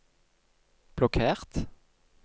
blokkert